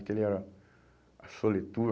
Aquele era a Soletour.